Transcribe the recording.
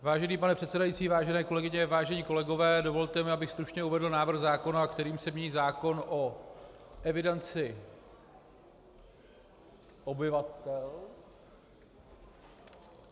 Vážený pane předsedající, vážené kolegyně, vážení kolegové, dovolte mi, abych stručně uvedl návrh zákona, kterým se mění zákon o evidenci obyvatel...